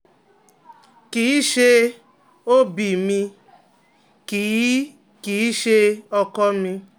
kì í ṣe OB mi, kì í kì í ṣe ọkọ mi